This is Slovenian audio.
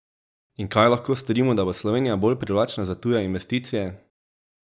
In kaj lahko storimo, da bo Slovenija bolj privlačna za tuje investicije?